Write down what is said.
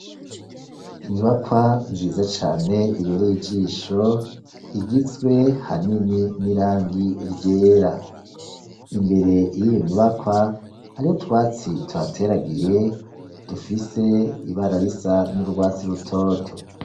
Inyubakwa nziza cane ibere ijisho igizwe hanini n'irangi ryera imbere yiyo nyubakwa hariho twatsi tuhateragiye dufise ibara risa n'urwatsi rutoto.